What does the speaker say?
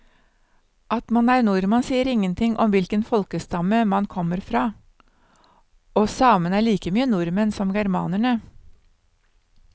At man er nordmann sier ingenting om hvilken folkestamme man kommer fra, og samene er like mye nordmenn som germanerne.